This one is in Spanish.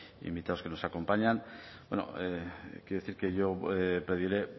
invitados que nos acompañan bueno quiero decir que yo pediré